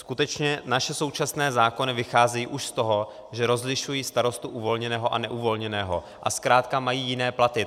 Skutečně naše současné zákony vycházejí už z toho, že rozlišují starostu uvolněného a neuvolněného, a zkrátka mají jiné platy.